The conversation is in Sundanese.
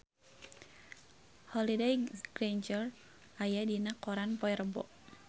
Holliday Grainger aya dina koran poe Rebo